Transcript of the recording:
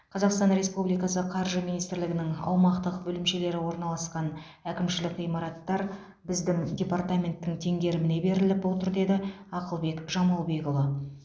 қазақстан республикасы қаржы министрлігінің аумақтық бөлімшелері орналасқан әкімшілік ғимараттар біздің департаменттің теңгеріміне беріліп отыр деді ақылбек жамалбекұлы